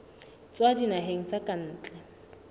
tswa dinaheng tsa ka ntle